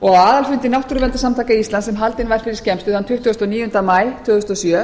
og á aðalfundi náttúruverndarsamtaka íslands sem haldinn var fyrir skemmstu þann tuttugasta og níunda maí tvö þúsund og sjö